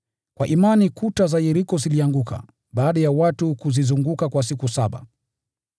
Kwa imani kuta za Yeriko zilianguka, baada ya watu kuzizunguka kwa siku saba.